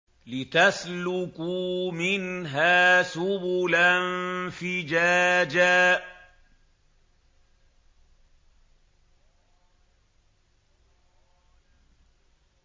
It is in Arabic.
لِّتَسْلُكُوا مِنْهَا سُبُلًا فِجَاجًا